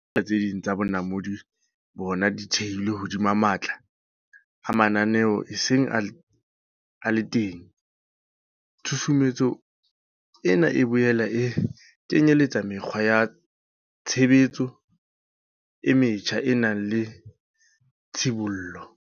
Tse ding tsa bonamodi bona di thehilwe hodima matla a mananeo a seng a le teng, tshusumetso ena e boela e kenyeletsa mekgwa ya tshebetso e metjha e nang le tshibollo.